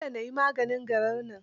Dole na yi maganin garar nan.